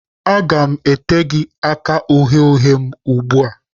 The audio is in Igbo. Aga m ete gị aka uhie uhie m ugbu a!